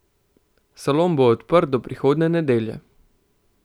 Salon bo odprt do prihodnje nedelje.